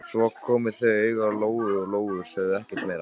Svo komu þau auga á Lóu-Lóu og sögðu ekkert meira.